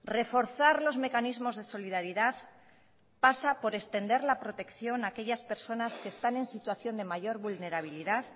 reforzar los mecanismos de solidaridad pasa por extender la protección a aquellas personas que están en situación de mayor vulnerabilidad